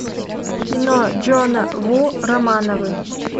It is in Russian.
кино джона ву романовы